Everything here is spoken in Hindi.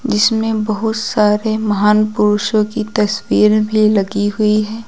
जिसमें बहुत सारे महान पुरुषों की तस्वीर भी लगी हुई है।